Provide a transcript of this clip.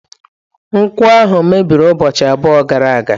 Nkwọ ahụ mebiri ụbọchị abụọ gara aga.